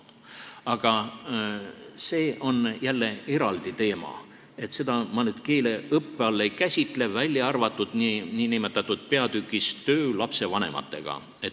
Aga see on jälle eraldi teema, seda ma nüüd keeleõppe all ei käsitle, välja arvatud nn peatükis "Töö lastevanematega".